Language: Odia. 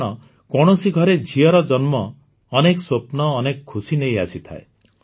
କାରଣ କୌଣସି ଘରେ ଝିଅର ଜନ୍ମ ଅନେକ ସ୍ୱପ୍ନ ଅନେକ ଖୁସି ନେଇ ଆସିଥାଏ